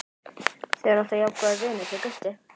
Þið eruð alltaf jafn góðir vinir þið Gutti?